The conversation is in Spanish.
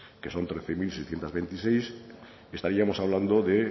que son trece mil seiscientos veintiséis estaríamos hablando de